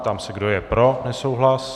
Ptám se, kdo je pro nesouhlas.